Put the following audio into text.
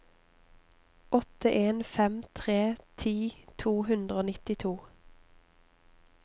åtte en fem tre ti to hundre og nittito